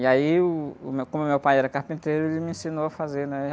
E aí, uh, o meu, como meu pai era carpinteiro, ele me ensinou a fazer, né?